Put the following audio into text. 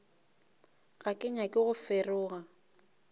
ga ke nyake go feroga